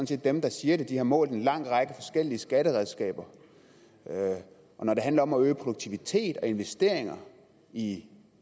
set dem der siger det de har målt en lang række forskellige skatteredskaber og når det handler om at øge produktivitet og investeringer i